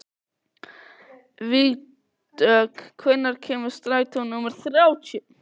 Vígdögg, hvenær kemur strætó númer þrjátíu?